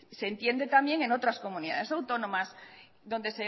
se entiende también en otras comunidades autónomas donde